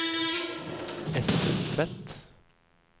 Ester Tvedt